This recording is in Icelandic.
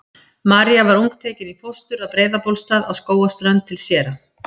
María var ung tekin í fóstur að Breiðabólstað á Skógarströnd til séra